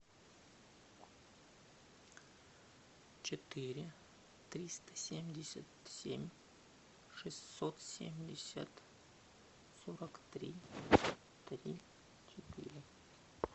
четыре триста семьдесят семь шестьсот семьдесят сорок три три четыре